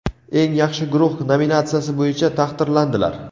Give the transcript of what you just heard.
eng yaxshi guruh nominatsiyasi bo‘yicha taqdirlandilar.